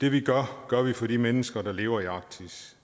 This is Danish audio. det vi gør gør vi for de mennesker der lever i arktis